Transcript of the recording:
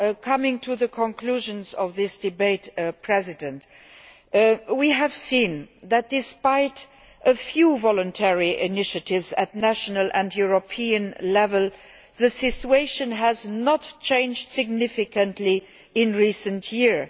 Coming to the conclusions of this debate, we have seen that, despite a few voluntary initiatives at national and European level, the situation has not changed significantly in recent years.